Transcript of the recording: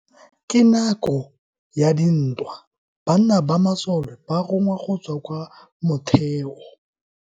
Ka nako ya dintwa banna ba masole ba rongwa go tswa kwa motheo.